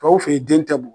Tɔw fe yen den tɛ bugɔ